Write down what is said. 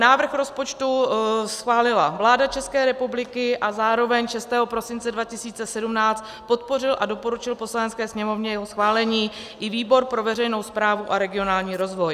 Návrh rozpočtu schválila vláda České republiky a zároveň 6 prosince 2017 podpořil a doporučil Poslanecké sněmovně jeho schválení i výbor pro veřejnou správu a regionální rozvoj.